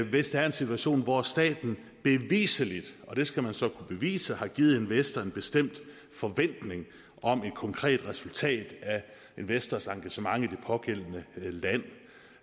hvis der er en situation hvor staten beviseligt og det skal man så kunne bevise har givet en investor en bestemt forventning om et konkret resultat af investorens engagement i det pågældende land